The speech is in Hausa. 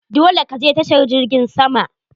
Dole ka je tashar jirgin sama!